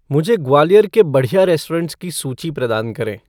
मुझे ग्वालियर के बढ़िया रेस्टोरेंट्स की सूची प्रदान करें